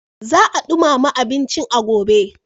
Za a ɗumama abincin a gobe.